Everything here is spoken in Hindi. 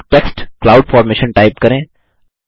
अब टेक्स्ट क्लाउड फॉर्मेशन टाइप करें